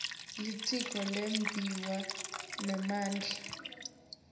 litiko letimbiwa nemandla